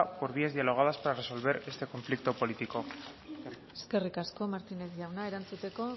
por vías dialogadas para resolver este conflicto político eskerrik asko martínez jauna erantzuteko